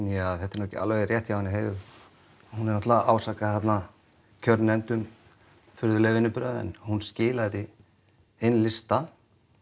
ja þetta er nú ekki alveg rétt hjá henni Heiðu hún er náttúrulega að ásaka þarna kjörnefnd um furðulega vinnubrögð en hún skilaði inn lista